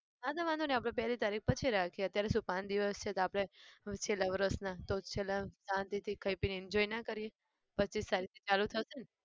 હા તો વાંધો નહિ પહેલી તારીખ પછી રાખીએ અત્યારે શું પાંચ દિવસ છે તો આપણે છેલ્લા વર્ષના તો છેલ્લા શાંતિથી ખાઈ પીને enjoy ના કરીએ? પચ્ચીસ તારીખથી ચાલુ થશેને?